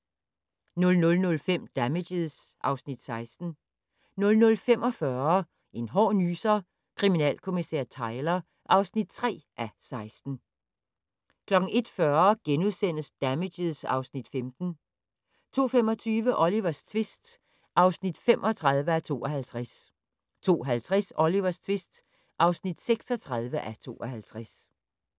00:05: Damages (Afs. 16) 00:45: En hård nyser: Kommissær Tyler (3:16) 01:40: Damages (Afs. 15)* 02:25: Olivers tvist (35:52) 02:50: Olivers tvist (36:52)